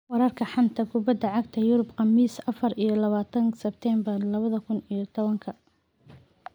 Wararka xanta kubada cagta Yurub Khamiis afaar iyo labatanka sebtembaar labada kuun iyo labatanka: Samatta, Telles, Koulibaly, Rudiger, Smalling, Terreira